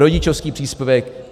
Rodičovský příspěvek!